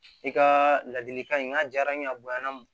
I ka ladilikan in n'a diyara n ye a bonyana